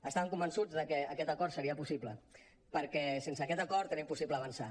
estàvem convençuts que aquest acord seria possible perquè sense aquest acord era impossible avançar